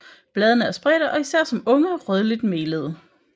Bladene er spredte og især som unge rødligt melede